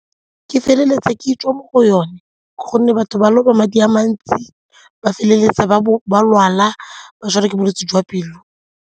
Ke feleletsa ke tswa mo go yone gonne batho ba loba madi a mantsi ba feleletsa ba bo ba lwala ba tshwarwa ke bolwetse jwa pelo.